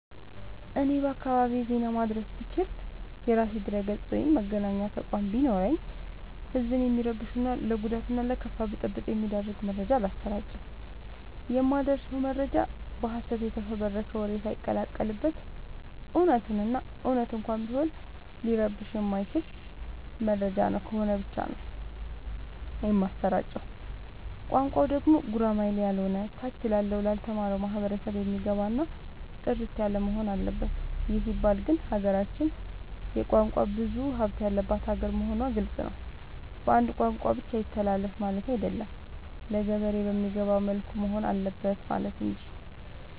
እኔ በአካባቢዬ ዜና ማድረስ ብችል። የራሴ ድረገፅ ወይም መገናኛ ተቋም ቢኖረኝ ህዝብን የሚረብሹ እና ለጉዳት እና ለከፋ ብጥብ የሚዳርግ መረጃ አላሰራጭም። የማደርሰው መረጃ በሀሰት የተፈበረከ ወሬ ሳይቀላቀል በት እውነቱን እና እውነት እንኳን ቢሆን ሊረብሸው የማይችል መረጃ ነው ከሆነ ብቻ ነው የማሰራጨው። ቋንቋው ደግሞ ጉራማይሌ ያሎነ ታች ላለው ላልተማረው ማህበረሰብ የሚገባ እና ጥርት ያለወሆን አለበት ይህ ሲባል ግን ሀገራችን የቋንቋ ብዙሀለት ያለባት ሀገር መሆኗ ግልፅ ነው። በአንድ ቋንቋ ብቻ ይተላለፍ ማለቴ አይደለም ለገበሬ በሚገባው መልኩ መሆን አለበት ማለት እንጂ።